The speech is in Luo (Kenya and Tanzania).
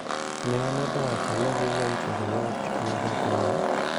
Ne omedo wacho ni Vivian Cheruiyot ma Ja - Kenya